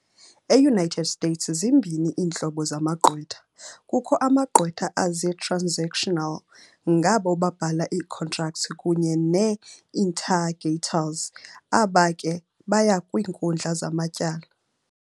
E-United States, zimbini iintlobo zamagqwetha - kukho amagqwetha azii-"transactional" ngabo babhala ii-contracts kunye nee-"litigators" aba ke baya kwiinkundla zamatyala.